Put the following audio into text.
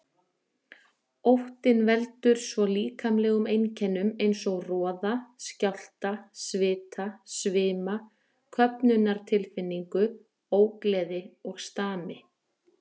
Óttinn veldur svo líkamlegum einkennum eins og roða, skjálfta, svita, svima, köfnunartilfinningu, ógleði og stami.